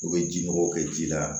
U bɛ ji nɔgɔw kɛ ji la